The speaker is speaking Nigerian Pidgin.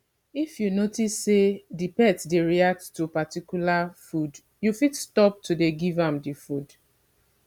if you notice sey di pet dey react to particular food you fit stop to dey give am di food